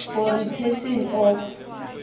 for retention of